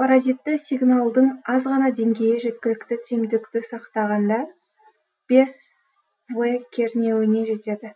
паразитті сигналдың аз ғана деңгейі жеткілікті тиімділікті сақтағанда бес в кернеуіне жетеді